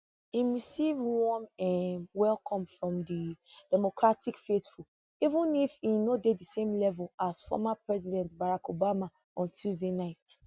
im receive warm um welcome from di democratic faithful even if e no dey di same level as former president barack obama on tuesday night